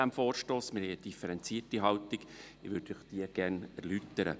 Wir haben eine differenzierte Haltung, und ich würde Ihnen diese gerne erläutern.